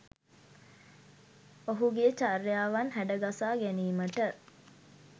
ඔහුගේ චර්යාවන් හැඩගසා ගැනීමට